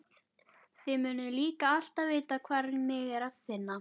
Þið munuð líka alltaf vita hvar mig er að finna.